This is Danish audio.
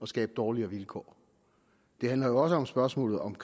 skabe dårligere vilkår det handler jo også om spørgsmålet om